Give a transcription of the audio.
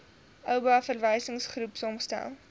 oba verwysingsgroep saamgestel